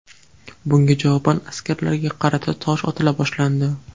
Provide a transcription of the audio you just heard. Bunga javoban askarlarga qarata tosh otila boshlandi.